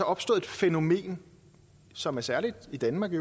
opstået et fænomen som er særligt i danmark i